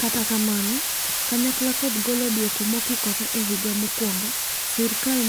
Kata kamano, kanyakla kod golo dwoko mokikore e higa mokwongo ,sirkal